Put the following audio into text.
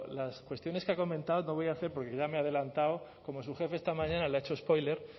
las cuestiones que ha comentado no voy a hacer porque ya me he adelantado como su jefe esta mañana le ha hecho spoiler